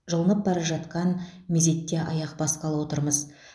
жылынып бара жатқан мезетте аяқ басқалы отырмыз